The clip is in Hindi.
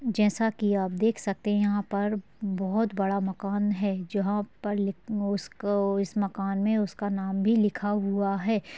जैसा की आप देख सकते हैं यहाँ पर बहुत बड़ा मकान है जहाँ पर इसका इस मकान में उसका नाम भी लिखा हुआ है ।